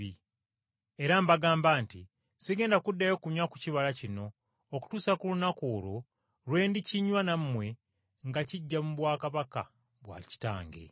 Era mbagamba nti, Sigenda kuddayo kunywa ku kibala kino okutuusa ku lunaku olwo lwe ndikinywa nammwe nga kiggya mu bwakabaka bwa Kitange.”